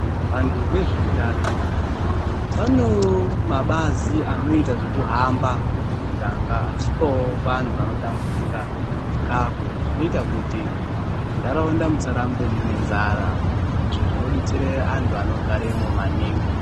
Vantu vezve utano .Vano mabazi anoita nezvekuhamba mumuganga vachipawo vantu vanotambudzika chikafu. Zvinoita kuti mundharaunda musarambe mune nzara. Izvo zvinodetsera antu vanogaremo maningi.